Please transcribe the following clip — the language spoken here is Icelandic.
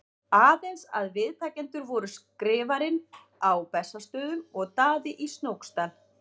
Aðeins að viðtakendur voru Skrifarinn á Bessastöðum og Daði í Snóksdal.